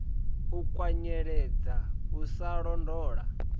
u kwanyeledza u sa londola